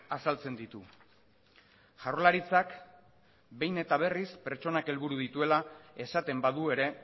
azaltzen ditu jaurlaritzak behin eta berriz pertsonak helburu dituela esaten badu ere